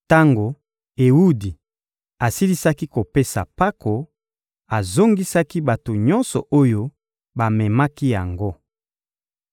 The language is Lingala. Tango Ewudi asilisaki kopesa mpako, azongisaki bato nyonso oyo bamemaki yango.